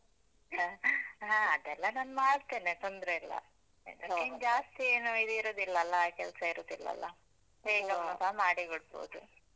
ಹ ಅದೆಲ್ಲ ನಾನ್ ಮಾಡ್ತೇನೆ ತೊಂದ್ರೆ ಇಲ್ಲ. ಇನ್ ಜಾಸ್ತಿ ಏನು ಇದ್ ಇರುದಿಲ್ಲಲ್ಲಾ, ಕೆಲ್ಸ ಇರುದಿಲ್ಲಲ್ಲಾ. ಮಾಡಿ ಕೊಡ್ಬೋದು.